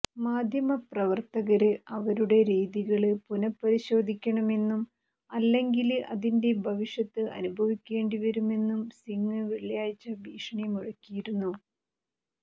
മാധ്യമ പ്രവര്ത്തകര് അവരുടെ രീതികള് പുനഃപരിശോധിക്കണമെന്നും അല്ലെങ്കില് അതിന്റെ ഭവിഷത്ത് അനുഭവിക്കേണ്ടി വരുമെന്നും സിംഗ് വെള്ളിയാഴ്ച ഭീഷണി മുഴക്കിയിരുന്നു